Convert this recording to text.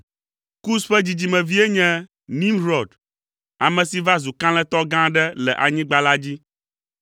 Kus ƒe dzidzimevie nye Nimrɔd, ame si va zu kalẽtɔ gã aɖe le anyigba la dzi.